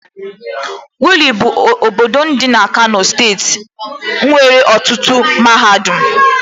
Wudil bụ obodo dị na Kano steeti nwere ọtụtụ mahadum